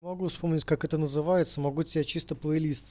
могу вспомнить как это называется могу тебя чистополь